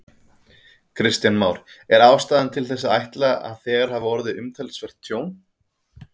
Kristján Már: Er ástæða til þess að ætla að þegar hafi orðið umtalsvert tjón?